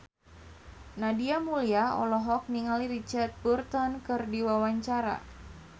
Nadia Mulya olohok ningali Richard Burton keur diwawancara